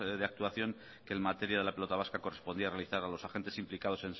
de actuación que en materia de la pelota vasca correspondía realizar a los agentes implicado